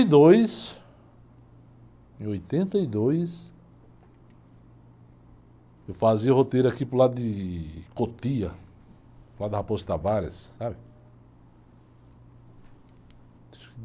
e dois, em oitenta e dois, eu fazia roteiro aqui para o lado de Cotia, para o lado da Raposo Tavares, sabe?